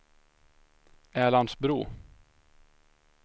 Älandsbro